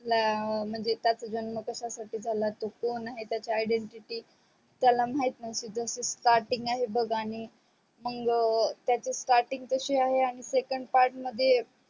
ला म्हणजे त्याच्या जन्म कश्या साठी झाला तो कोण आहे त्याची identity त्याला माहीत नोहती जस starting आहे बग आणि मग त्याची starting तशी आहे आणि second part मध्ये